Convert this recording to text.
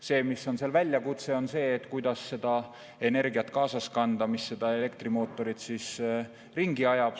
Seal on väljakutse see, kuidas kaasas kanada seda energiat, mis elektrimootorit ringi ajab.